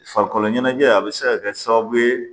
Farikolo ɲɛnajɛ a bɛ se ka kɛ sababu ye